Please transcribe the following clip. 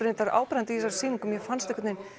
áberandi í þessari sýningu mér fannst